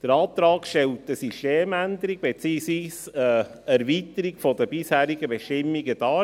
Der Antrag stellt eine Systemänderung, beziehungsweise eine Erweiterung der bisherigen Bestimmungen dar.